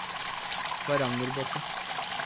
Varangerbotn